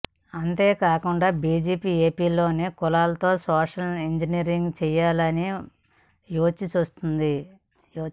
అంతే కాకుండా బీజేపీ ఏపీలోని కులాలతో సోషల్ ఇంజనీరింగ్ చేయాలనీ యోచిస్తోంది